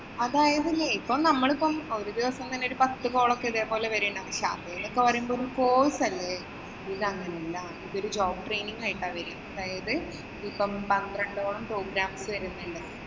അതായതില്ലേ ഇപ്പൊ നമ്മളിപ്പം ഒരു ദിവസം തന്നെ പത്ത് call ഒക്കെ ഇതേപോലെ വരുകയുണ്ട്. അതൊക്കെ പറയുമ്പോഴേ ഒരു course അല്ലേ. ഇത് അങ്ങനെയല്ല. ഇതൊരു job training ആയിട്ടാ വരിക. അതായത് ഇപ്പം പന്ത്രണ്ടോളം programmes വരുന്നുണ്ട്.